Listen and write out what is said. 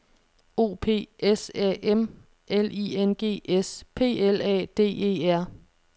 O P S A M L I N G S P L A D E R